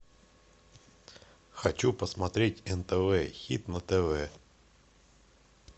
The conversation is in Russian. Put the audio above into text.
хочу посмотреть нтв хит на тв